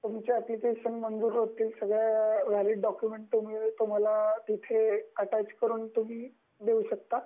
तुमच एप्लिकेशन म्हणजे सगळ्या तुमचे वैलिड डॉक्युमेंट अट्याच करून देऊ शकता.